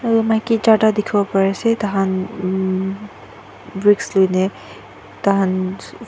maki charta dekhibo pari ase taikhan hmm bricks loina taikhan--